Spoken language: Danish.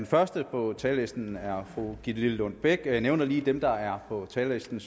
første på talerlisten er fru gitte lillelund bech og jeg nævner lige dem der er på talerlisten